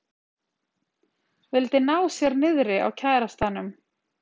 Vildi ná sér niðri á kærastanum